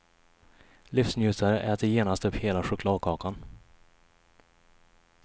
Livsnjutare äter genast upp hela chokladkakan.